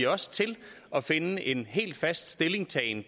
også til at finde en helt fast stillingtagen